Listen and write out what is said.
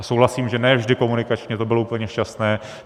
A souhlasím, že ne vždy komunikačně to bylo úplně šťastné.